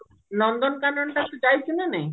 ନନ୍ଦନକାନନ ତୁ ଯାଇଛୁ ନା ନାଇଁ